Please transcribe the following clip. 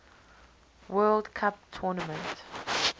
world cup tournament